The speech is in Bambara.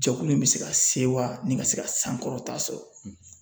Jɛkulu in be se ka sewa nin ka se ka sankɔrɔta sɔrɔ